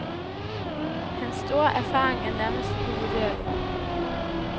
Hans store erfaring er nærmest uvurderlig.